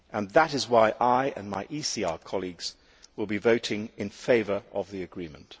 That is why I, and my ECR colleagues, will be voting in favour of the agreement.